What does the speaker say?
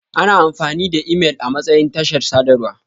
Ana amfani da imel amatsayin tashar sadarwa.